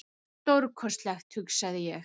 Stórkostlegt, hugsaði ég.